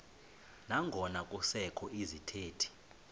nangona kusekho izithethi